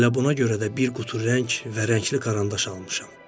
Bax elə buna görə də bir qutu rəng və rəngli karandaş almışam.